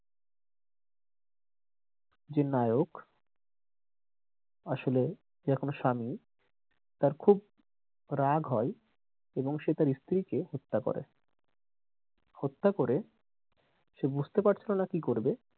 যে নায়ক আসলে যে এখানে স্বামী তার খুব রাগ হয় এবং তার স্ত্রীকে হত্যা করে হত্যা করে সে বুঝতে পারছিলোনা কি করবে,